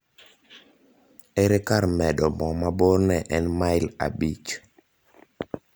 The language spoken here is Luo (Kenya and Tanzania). ere kar medo mo ma borne en mail abich